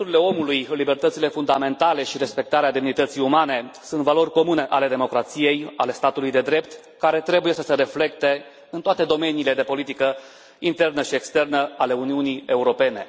Domnule președinte, drepturile omului, libertățile fundamentale și respectarea demnității umane sunt valori comune ale democrației, ale statului de drept, care trebuie să se reflecte în toate domeniile de politică internă și externă ale Uniunii Europene.